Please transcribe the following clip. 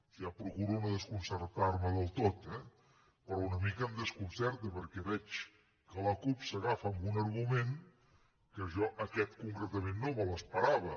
ja procuro no desconcertarme del tot eh però una mica em desconcerta perquè veig que la cup s’agafa a un argument que jo aquest concretament no me l’esperava